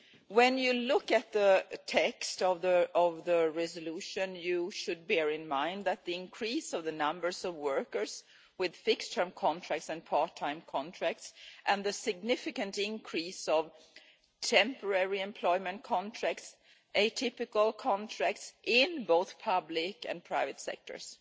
When you look at the text of the resolution, you should bear in mind the increase in the number of workers with fixed term and part time contracts and the significant increase in temporary employment contracts and atypical contracts, in both the public and private sectors.